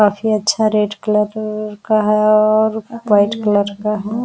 काफी अच्छा red colour का है और व्हाइट कलर